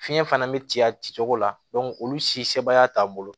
Fiɲɛ fana bɛ ci a ci cogo la olu si sebaaya t'an bolo